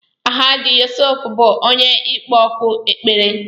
Alahaji Yusuf bú onye ịkpọ òkù ekpere